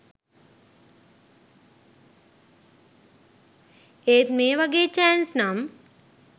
ඒත් මේ වගේ චෑන්ස් නම්